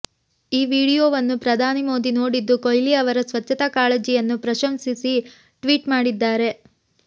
ಈ ವಿಡಿಯೋವನ್ನು ಪ್ರಧಾನಿ ಮೋದಿ ನೋಡಿದ್ದು ಕೊಹ್ಲಿ ಅವರ ಸ್ಚಚ್ಚತಾ ಕಾಳಜಿಯನ್ನು ಪ್ರಶಂಸಿಸಿ ಟ್ವೀಟ್ ಮಾಡಿದ್ದಾರೆ